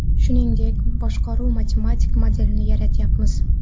Shuningdek, boshqaruv matematik modelini yaratyapmiz.